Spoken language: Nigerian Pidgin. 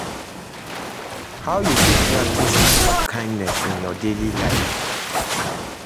How you fit practice acts of kindness in your daily life?